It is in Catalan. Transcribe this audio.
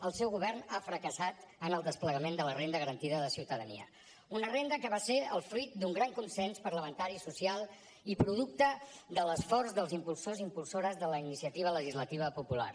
el seu govern ha fracassat en el desplegament de la renda garantida de ciutadania una renda que va ser el fruit d’un gran consens parlamentari i social i producte de l’esforç dels impulsors i impulsores de la iniciativa legislativa popular